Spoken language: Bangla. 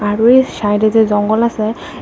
বাড়ির সাইডে যে জঙ্গল আসে।